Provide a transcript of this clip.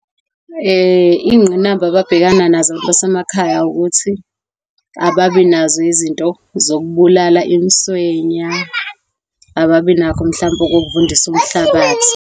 Izingqinamba ababhekana nazo abantu basemakhaya ukuthi ababi nazo izinto zokubulala umswenya. Ababi nakho mhlampe ukuvundisa umhlabathi.